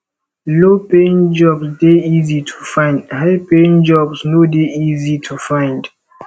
low paying jobs de easy to find high paying jobs no de easy easy to find